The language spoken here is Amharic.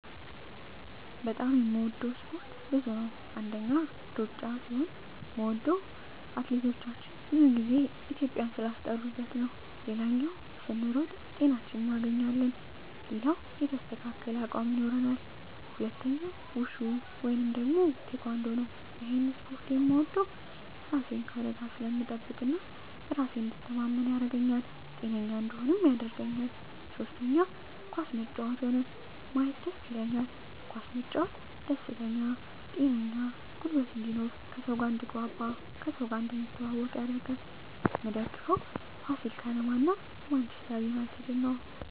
በጣም የምወደው እስፓርት ብዙ ነው አንደኛ እሩጫ ሲሆን ምወደው ምክነያት አትሌቶቻችን ብዙ ግዜ ኢትዩጵያን ስላስጠራት ሌላው ስንሮጥ ጤናችን እናገኛለን ሌላው የተስተካከለ አቅም ይኖራል ሁለተኛው ውሹ ወይም ቲካንዶ እሄን እስፖርት ምወደው እራሴን ከአደጋ ስለምጠብቅ እና በራሴ እንድተማመን ያረገኛል ጤነኛ እንድሆንም ያረገኛል ሶስተኛ ኳስ መጫወት ሆነ ማየት ደስ ይለኛል ኳስ መጫወት ደስተኛ ጤነኛ ጉልበት እንድኖር ከሰው ጋር አድትግባባ እና ከሰው እንድትተዋወቅ ያረጋል ምደግፈው ፋሲል ከነማ እና ማንችስተር ነው